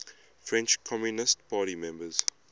french communist party members